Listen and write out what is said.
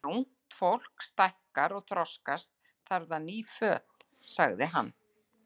Þegar ungt fólk stækkar og þroskast, þarf það ný föt sagði hann.